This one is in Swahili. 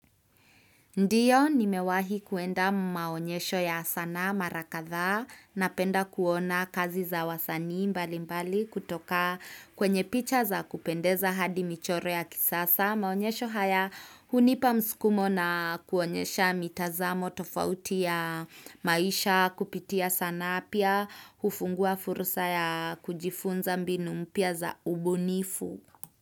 Ndiyo, nimewahi kuenda maonyesho ya sanaa mara kadhaa, napenda kuona kazi za wasanii mbali mbali kutoka kwenye picha za kupendeza hadi michoro ya kisasa. Maonyesho haya hunipa mskumo na kuonyesha mitazamo tofauti ya maisha kupitia sanaa pia hufungua fursa ya kujifunza mbinu mpya za ubunifu.